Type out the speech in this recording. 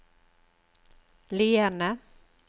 Lierne